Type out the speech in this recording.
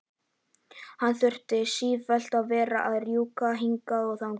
Hann þurfti sífellt að vera að rjúka hingað og þangað.